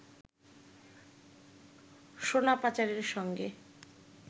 সোনা পাচারের সঙ্গে